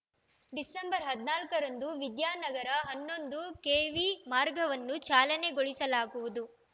December ಹದಿನಾಲ್ಕ ರಂದು ವಿದ್ಯಾನಗರ ಹನ್ನೊಂದು ಕೆವಿ ಮಾರ್ಗವನ್ನು ಚಾಲನೆ ಗೊಳಿಸಲಾಗುವುದು